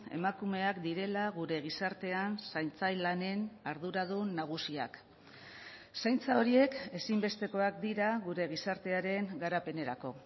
emakumeak direla gure gizartean zaintza lanen arduradun nagusiak zaintza horiek ezinbestekoak dira gure gizartearen garapenerako